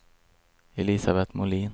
Elisabet Molin